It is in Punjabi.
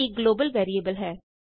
a ਇਕ ਗਲੋਬਲ ਵੈਰੀਏਬਲ ਹੈ